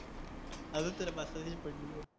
अजून तुला पास्ताचीच पडलेय?